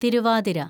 Thiruvathira